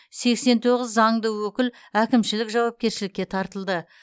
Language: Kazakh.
сексен тоғыз заңды өкіл әкімшілік жауапкершілікке тартылды